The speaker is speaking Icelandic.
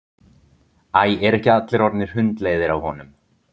Æ, eru ekki allir orðnir hundleiðir á honum?